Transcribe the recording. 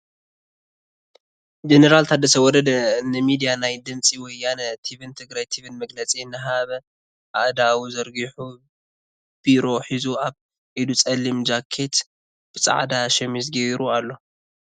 ጀነራል ታደሰ ወረደ ንሚድያ ናይ ድምፂ ወያነ ቲቪን ትግራይ ቲቪን መግለፂ እናሃበ ኣእዳዉ ዘርጉሑ ቢሮ ሒዙ ኣብ ኢዱ ፀሊም ጃኬት ብፃዕዳ ሸሚዝ ጌሩ ኣሎ ።